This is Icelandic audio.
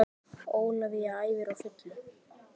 Ólafía æfir á fullu